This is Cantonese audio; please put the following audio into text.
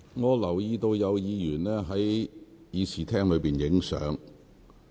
我留意到有議員在會議廳內拍照。